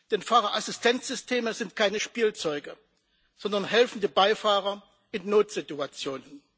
Denn Fahrerassistenzsysteme sind keine Spielzeuge, sondern helfende Beifahrer in Notsituationen.